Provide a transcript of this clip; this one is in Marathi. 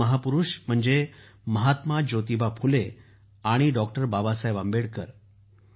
हे दोन महापुरुष म्हणजे महात्मा ज्योतिबा फुले आणि डॉ बाबासाहेब आंबेडकर